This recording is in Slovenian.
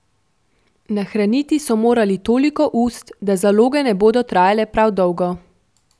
Nahraniti so morali toliko ust, da zaloge ne bodo trajale prav dolgo.